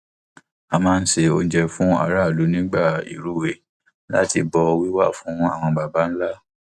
a máa ń se oúnjẹ fún aráàlú nígbà ìrúwé láti bọ wíwà àwọn baba ńlá